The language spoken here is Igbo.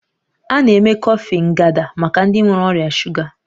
A na-eme kọfị Nganda maka ndị nwere ọrịa shuga